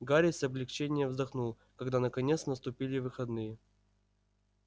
гарри с облегчением вздохнул когда наконец наступили выходные